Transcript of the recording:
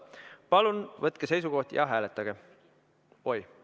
Palun võtke seisukoht ja hääletage!